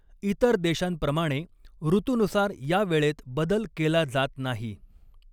इतर देशांप्रमाणे ॠतूनुसार या वेळेत बदल केला जात नाही.